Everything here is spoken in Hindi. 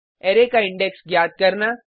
अरै का इंडेक्स ज्ञात करना